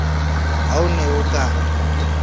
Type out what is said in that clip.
ha o ne o ka